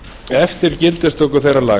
eftir gildistöku þeirra laga